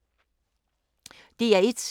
DR1